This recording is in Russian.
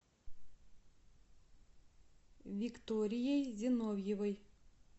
викторией зиновьевой